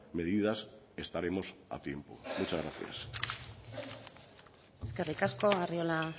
medidas estaremos a tiempo muchas gracias eskerrik asko arriola